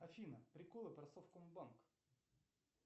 афина приколы про совкомбанк